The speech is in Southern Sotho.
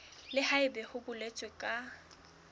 le haebe ho boletswe ka